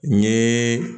N ye